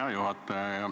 Hea juhataja!